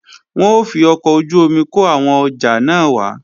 Wọn ó fi ọkọ̀ ojú-omi kó àwọn ọjà náà wá